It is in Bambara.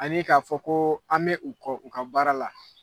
Ani k'a fɔ ko an bɛ u kɔ u ka baara la.